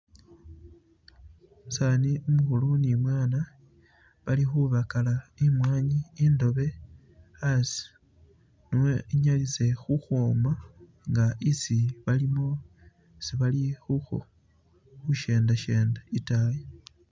Umusani umukhulu ne umwana bali khubakala imwanyi indoobe asi ne inyalise khukhwoma nga isi bali khushendashenda itaayi.